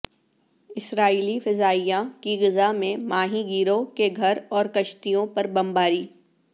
اسرائیلی فضائیہ کی غزہ میں ماہی گیروں کے گھر اور کشتیوں پر بمباری